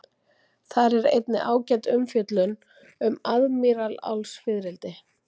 Þar er einnig ágæt umfjöllun um aðmírálsfiðrildi.